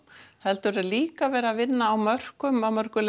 heldur er líka verið að vinna á mörkum á mörkum